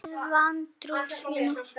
Með vantrú þína.